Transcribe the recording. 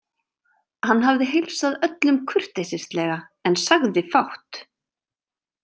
Hann hafði heilsað öllum kurteislega en sagði fátt.